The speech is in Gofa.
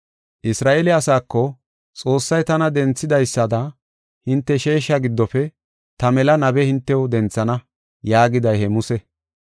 “Isra7eele asaako, ‘Xoossay tana denthidaysada hinte sheesha giddofe ta mela nabe hintew denthana’ yaagiday he Muse.